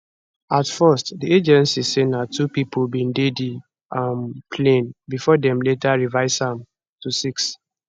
at first di agency say na two pipo bin dey di um plane bifor dem later revise am to six